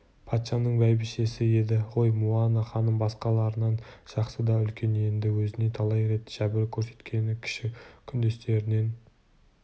патшаның бәйбішесі еді ғой муана ханым басқаларынан жасы да үлкен енді өзіне талай рет жәбір көрсеткен кіші күндестерінен